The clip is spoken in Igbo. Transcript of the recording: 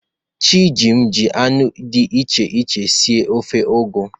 Chijim ji anụ dị iche iche sie ofe ugu.